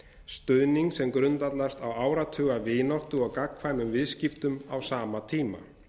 stuðning sem grundvallast á áratuga vináttu og gagnkvæmum viðskiptum á sama tíma